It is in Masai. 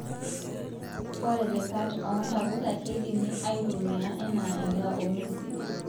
Ore lekat oo ntapuka keidimu aitumia anaa edaa oo nguesin